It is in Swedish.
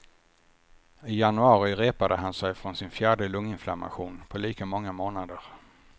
I januari repade han sig från sin fjärde lunginflammation på lika många månader.